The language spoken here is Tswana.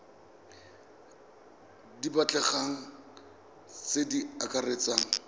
di batlegang tse di akaretsang